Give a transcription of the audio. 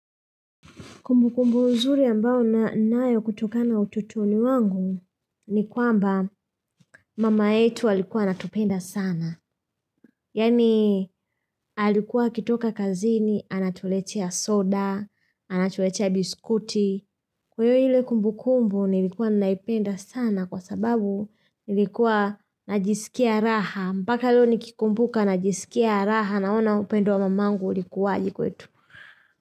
Kumbukumbu nzuri ambayo ninayo kutokana utotoni wangu ni kwamba mama yetu alikuwa anatupenda sana. Yaani alikuwa akitoka kazini, anatuletea soda, anatuletea biskuti. Kwa hivyo ile kumbukumbu nilikuwa naipenda sana kwa sababu nilikuwa najisikia raha. Mpaka leo nikikumbuka najisikia raha naona upendo wa mamangu ulikuwaje kwetu.